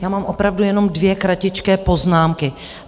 Já mám opravdu jenom dvě kratičké poznámky.